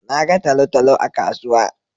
Na ga talo-talo a kasuwa.